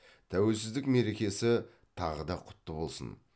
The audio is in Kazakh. тәуелсіздік мерекесі тағы да құтты болсын